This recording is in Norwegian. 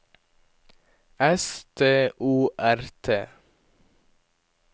S T O R T